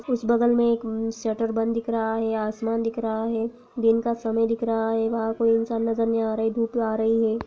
उस बगल में एक म शटर बंद दिख रहा है आसमान दिख रहा है दिन का समय दिख रहा है वहाँ कोई इंसान नजर नहीं आ रहा है धुप आ रही है।